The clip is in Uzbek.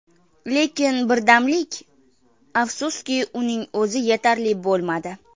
Lekin birdamlik… afsuski, buning o‘zi yetarli bo‘lmadi.